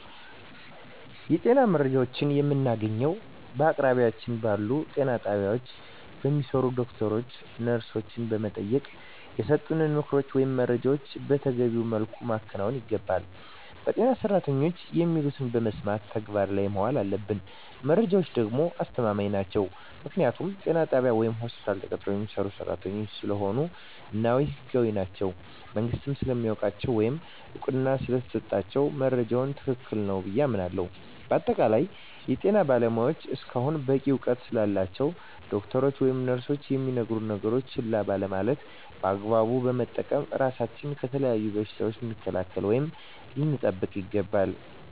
የጤና መረጃዎችን የምናገኘዉ በአቅራቢያችን ባሉ ጤና ጣቢያ በሚሰሩ ዶክተሮችን ነርሶችን በመጠየቅና የሰጡንን ምክሮች ወይም መረጃዎችን መተገቢዉ መልኩ ማከናወን ይገባናል በጤና ሰራተኖች የሚሉትን በመስማት ተግባር ላይ ማዋል አለብን መረጃዎች ደግሞ አስተማማኝ ናቸዉ ምክንያቱም ጤና ጣቢያ ወይም ሆስፒታል ተቀጥረዉ የሚሰሩ ሰራተኞች ስለሆኑ እና ህጋዊም ናቸዉ መንግስትም ስለሚያዉቃቸዉ ወይም እዉቅና ስለተሰጣቸዉ መረጃዉ ትክክል ነዉ ብየ አምናለሁ በአጠቃላይ የጤና ባለሞያዎች እስከሆኑና በቂ እዉቀት ስላላቸዉ ዶክተሮች ወይም ነርሶች የሚነግሩነን ነገሮች ችላ ባለማለት በአግባቡ በመጠቀም ራሳችንን ከተለያዩ በሽታዎች ልንከላከል ወይም ልንጠብቅ ይገባል